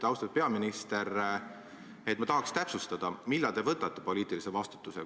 Austatud peaminister, ma tahaks täpsustada, millal te võtate poliitilise vastutuse.